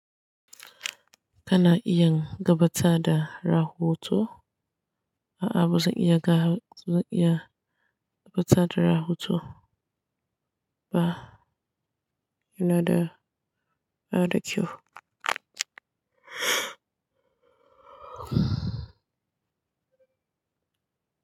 Kana iya gabata da rahoto? A'a ba zan iya ga, zan iya gabata da rahoto ba. Yana da, yana da kyau.